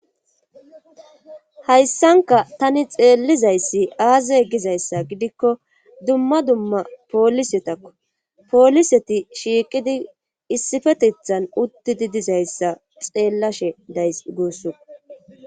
Hayssanka tani xeellizayssi aaze gizayssa gidikko dumma dumma poolisetakko pooliseti shiiqidi issifetethan uttidi dizayssa xeellashe days guusso.